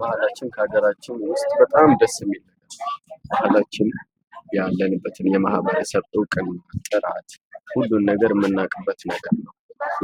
ባህላችን ከሀገራችን ውስጥ በጣም ደስ የሚል ባህላችን ያለንበትን የማህበረሰብ እውቅና ጥራት ሁሉን ነገር የምናውቅበት ነገር ነው።